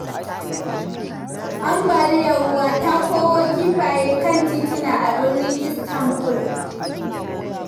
Ambaliyar ruwa ta koro kifaye kan tituna a birnin Istanbul.